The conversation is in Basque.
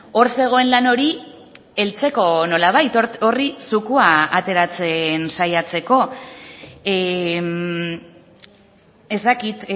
hor zegoen lan hori heltzeko nolabait horri zukua ateratzen saiatzeko ez dakit